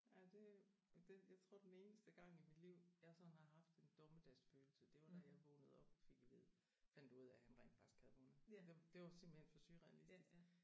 Ja det er jo og det jeg tror den eneste gang i mit liv jeg sådan har haft en dommedagsfølelse det var da jeg vågnede op og fik at vide fandt ud af han rent faktisk havde vundet. Det det var simpelthen for surrealistisk